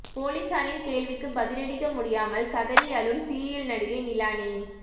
போலீசாரின் கேள்விக்கு பதிலளிக்க முடியாமல் கதறி அழும் சீரியல் நடிகை நிலானி